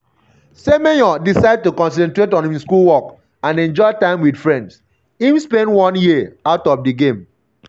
um semenyo decide to concentrate on im schoolwork and enjoy time wit friends um im spend one year out of um di game.